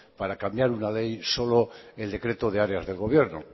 para cambiar una ley solo el decreto de área del gobierno